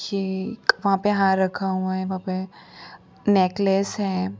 ये एक वहां पर हार रखा हुआ है वहाँ पे नेकलेस है।